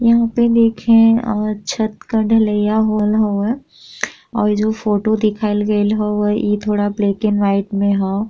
यहाँँ पे देखे अ छत का ढ़लैया होवल हउवे और इ जो फोटो दिखाइल गइल हउवे इ थोड़ा ब्लैक एंड व्हाइट में ह।